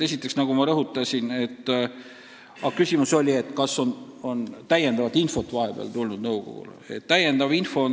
Esiteks, nagu ma rõhutasin, küsimus oli, kas nõukogule on vahepeal tulnud täiendavat infot.